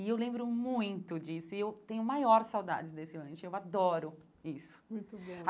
E eu lembro muito disso e eu tenho maior saudades desse lanche, eu adoro isso. Muito bom